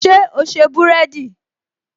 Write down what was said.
Ṣé o se búrẹ́dì?